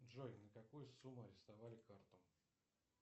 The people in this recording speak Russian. джой на какую сумму арестовали карту